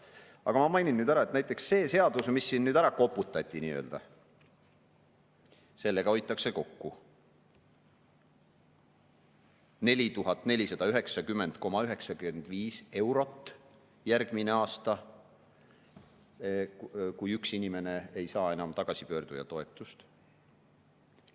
Aga ma mainin nüüd ära, et näiteks selle seadusega, mis siin ära koputati nii-öelda, hoitakse kokku 4490,95 eurot järgmine aasta, kui üks inimene ei saa enam tagasipöörduja toetust.